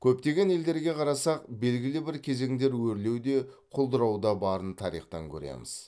көптеген елдерге қарасақ белгілі бір кезеңдер өрлеу де құлдырау да барын тарихтан көреміз